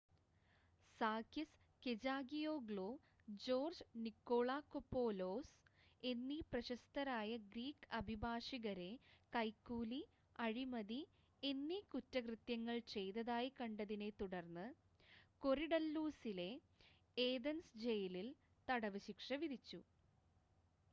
Sakis Kechagioglou George Nikolakopoulos എന്നീ പ്രശസ്തരായ Greek അഭിഭാഷകരെ കൈക്കൂലി അഴിമതി എന്നീ കുറ്റകൃത്യങ്ങൾ ചെയ്തതായി കണ്ടതിനെ തുടർന്ന് കൊറിഡല്ലൂസിലെ ഏഥൻസ് ജയിലിൽ തടവ് ശിക്ഷ വിധിച്ചു